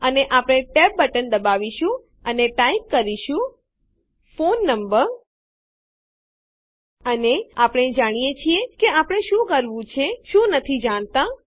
અને આપણે tab button દબાવશું અને ટાઈપ કરીશું ફોન number160 ફોન ક્રમાંક અર્ધવિરામ અનેઆપણે જાણીએ છીએ કે આપણે શું કરવું છે શું નથી જાણતાં